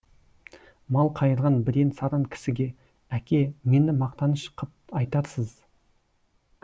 мал қайырған бірен саран кісіге әке мені мақтаныш қып айтарсыз